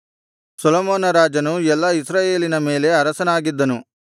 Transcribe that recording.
ಸೊಲೊಮೋನ ರಾಜನು ಎಲ್ಲಾ ಇಸ್ರಾಯೇಲಿನ ಮೇಲೆ ಅರಸನಾಗಿದ್ದನು